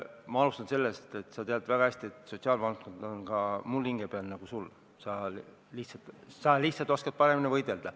Ma alustan sellest, et sa tead väga hästi, et sotsiaalvaldkond on ka minul hinge peal, nii nagu sul, sina lihtsalt oskad paremini võidelda.